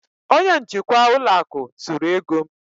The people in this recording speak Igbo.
onye njikwa ụlọ akụ zuru ego m